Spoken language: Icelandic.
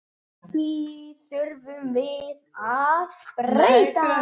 Því þurfum við að breyta.